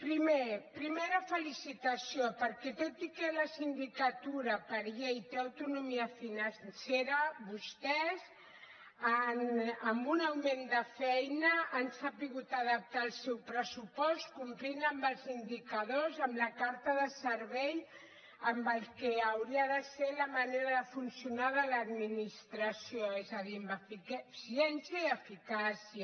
primer primera felicitació perquè tot i que la sindicatura per llei té autonomia financera vostès amb un augment de feina han sabut adaptar el seu pressupost complint amb els indicadors amb la carta de servei amb el que hauria de ser la manera de funcionar de l’administració és a dir amb eficiència i eficàcia